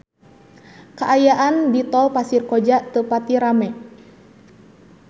Kaayaan di Tol Pasir Koja teu pati rame